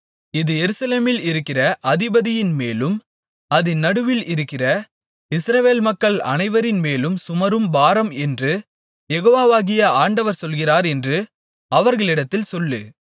இது எருசலேமில் இருக்கிற அதிபதியின்மேலும் அதின் நடுவில் இருக்கிற இஸ்ரவேல் மக்கள் அனைவரின்மேலும் சுமரும் பாரம் என்று யெகோவாகிய ஆண்டவர் சொல்லுகிறார் என்று அவர்களிடத்தில் சொல்லு